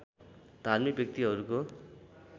धार्मिक व्यक्तिहरूको